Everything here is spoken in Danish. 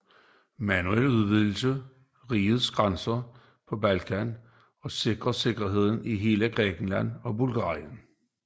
Manuel udvidede rigets grænser på Balkan og sikrede sikkerheden i hele Grækenland og Bulgarien